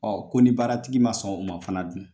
Ɔ ko ni baaratigi ma sɔn o ma fana dun?